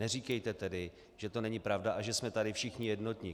Neříkejte tedy, že to není pravda a že jsme tady všichni jednotní.